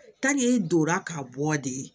i donna k'a bɔ de ye